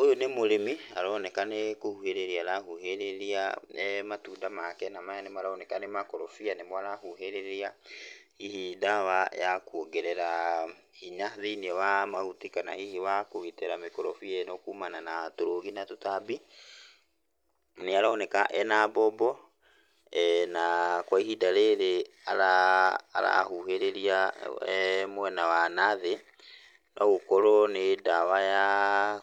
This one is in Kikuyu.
Ũyũ nĩ mũrĩmi aroneka nĩ kũhũhĩrĩria arahũhĩrĩria matunda make, na maya nĩ aroneka nĩ makorobia nĩ mo arahũhĩrĩria hihi ndawa ya kuongerera hinya thĩiniĩ wa mahuti, kana hihi wa kugitĩra mĩkarobia ĩno kumana na tũrũgi na tũtambi, nĩ aroneka ena mbombo na kwa ihinda rĩrĩ arahuhĩrĩrĩa mwena wa na thĩ, no gũkorwo nĩ ndawa ya